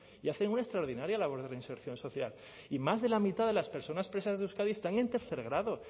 y hacen una extraordinaria labor de reinserción social y más de la mitad de las personas presas de euskadi están en tercer grado